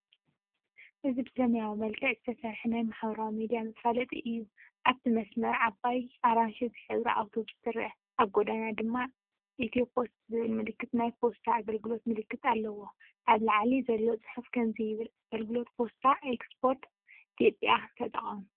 እዚ ብሰማያዊ መልክዕ ዝተሰርሐ ናይ ማሕበራዊ ሚድያ መፋለጢ እዩ። ኣብቲ መስመር ዓባይ ኣራንሺ ዝሕብራ ኣውቶቡስ ትርአ፣ ኣብ ጎድና ድማ“ኢትዮፖስት”ዝብል ምልክትን ናይ ፖስታ ኣገልግሎት ምልክትን ኣለዋ። ኣብ ላዕሊ ዘሎ ጽሑፍ ከምዚ ይብል፤“ኣገልግሎት ፖስታ ኤክስፕረስ ኢትዮጵያ ተጠቐሙ!”